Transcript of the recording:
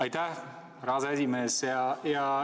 Aitäh, härra aseesimees!